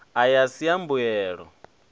aya a si a mbuyelo